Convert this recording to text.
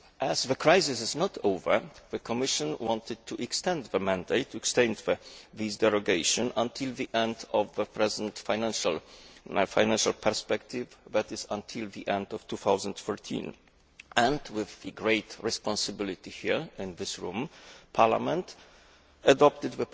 As the crisis is not over, the Commission wanted to extend the mandate to extend these derogations until the end of the present financial perspective that is, until the end of 2013 and, with the great responsibility here in this room, Parliament adopted